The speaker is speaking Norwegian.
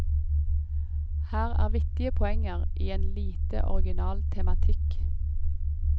Her er vittige poenger i en lite original tematikk.